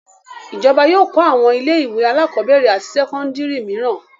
Ìjọba yóò kọ́ àwọn ilé-ìwé alákọ̀ọ́bẹ̀rẹ̀ àti sẹ́kọ́ndárì mìíràn.